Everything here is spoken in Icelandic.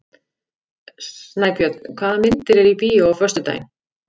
Snæbjörn, hvaða myndir eru í bíó á föstudaginn?